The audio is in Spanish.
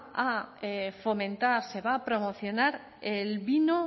a fomentar se va a promocionar el vino